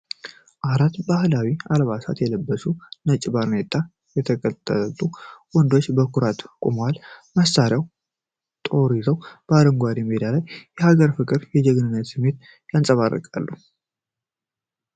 አራት ባሕላዊ አልባሳት የለበሱ፣ በነጭ ባርኔጣ የተጠቀለሉ ወንዶች በኩራት ቆመዋል። መሳሪያና ጦር ይዘው፣ አረንጓዴው ሜዳ ላይ የሀገር ፍቅርንና የጀግንነት ስሜትን ያንጸባርቃሉ።